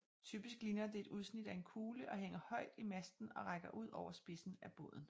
Typisk ligner det et udsnit af en kugle og hænger højt i masten og rækker ud over spidsen af båden